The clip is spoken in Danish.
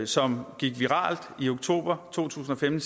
som gik viralt i oktober to tusind og femten